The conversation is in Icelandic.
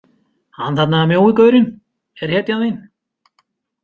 Hann þarna mjói gaurinn er hetjan þín.